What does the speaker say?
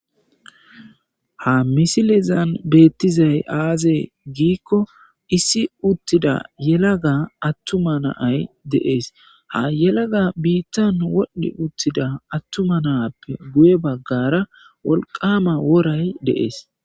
ha misilizan beettizay aaze giikko issi uttida yelaga attuma naay de7ees ha yelaga biittan wodhdhi uttida attuma naappe guye baggara wolqama woray de7ees